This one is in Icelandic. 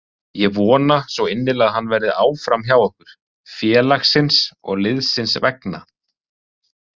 Ég vona svo innilega að hann verði áfram hjá okkur, félagsins og liðsins vegna.